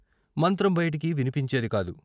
మంత్రం బయటికి విన్పించేదికాదు.